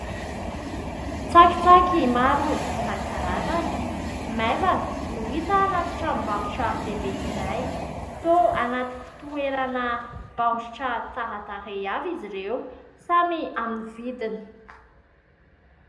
Tsakitsaky maro isan-karazany maivana no hita anaty tranombarotra lehibe iray toa anaty fitoerana baoritra tsara tarehy avy izy ireo samy amin'ny vidiny.